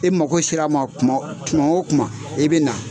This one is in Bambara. E mago sera ma kuma kuma wo kuma i bɛ na.